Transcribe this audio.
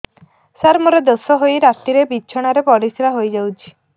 ସାର ମୋର ଦୋଷ ହୋଇ ରାତିରେ ବିଛଣାରେ ପରିସ୍ରା ହୋଇ ଯାଉଛି